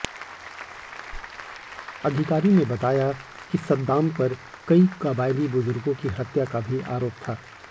अधिकारी ने बताया कि सद्दाम पर कई कबायली बुजुर्गों की हत्या का भी आरोप था